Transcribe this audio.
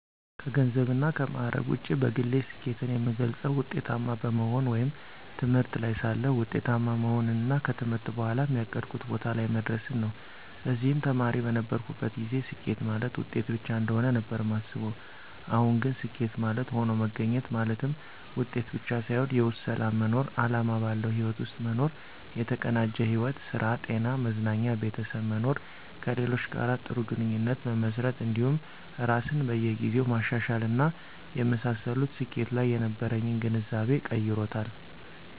ከገንዘብና ከማዕረግ ውጪ በግሌ ስኬትን የምገልፀው ውጤታማ በመሆን ወይም ትምህርት ላይ ሳለሁ ውጤታማ መሆንንና ከትምህርት በኋም ያቀድኩት ቦታ ላይ መድረስን ነው። በዚህም ተማሪ በነበርኩበት ጊዜ ስኬት ማለት ውጤት ብቻ እንደሆነ ነበር ማስበው አሁን ግን ስኬት ማለት ሆኖ መገኘት ማለትም ውጤት ብቻ ሳይሆን የውስጥ ሰላም መኖር፣ አላማ ባለው ህይወት ውስጥ መኖር፣ የተቀናጀ ሕይወት ( ስራ፣ ጤና፣ መዝናኛ፣ ቤተሰብ) መኖር፣ ከሌሎች ጋር ጥሩ ግንኙነት መመስረት እንዲሁም ራስን በየ ጊዜው ማሻሻል እና የመሳሰሉት ስኬት ላይ የነበረኝን ግንዛቤ ቀይሮታል።